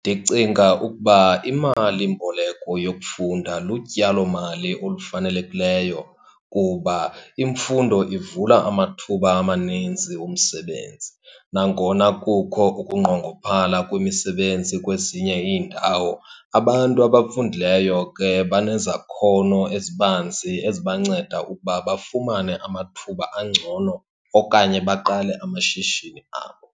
Ndicinga ukuba imalimboleko yokufunda lutyalomali olufanelekileyo kuba imfundo ivula amathuba amaninzi omsebenzi. Nangona kukho ukunqongophala kwemisebenzi kwezinye iindawo, abantu abafundileyo ke banezakhono ezibanzi ezibanceda ukuba bafumane amathuba angcono okanye baqale amashishini abo.